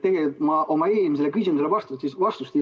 Tegelikult ma oma eelmisele küsimusele vastust ei saanud.